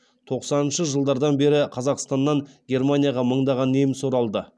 тоқсаныншы жылдардан бері қазақстаннан германияға мыңдаған неміс оралды